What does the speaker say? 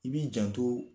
I b'i janto